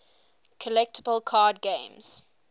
collectible card games